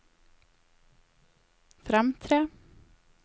fremtre